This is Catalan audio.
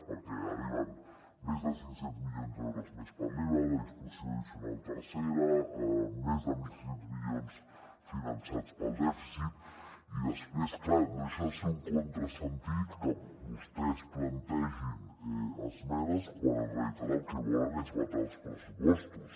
perquè arriben més de cinc cents milions d’euros més per l’iva la disposició addicional tercera més de mil sis cents milions finançats pel dèficit i després clar no deixa de ser un contrasentit que vostès plantegin esmenes quan en realitat el que volen és vetar els pressupostos